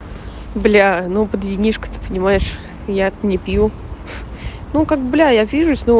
блять ну под винишко ты понимаешь я то не пью ну как бля я вижусь